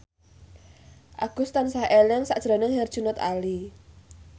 Agus tansah eling sakjroning Herjunot Ali